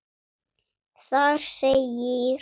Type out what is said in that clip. Þar segir: